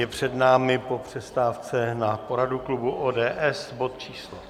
Je před námi po přestávce na poradu klubu ODS bod číslo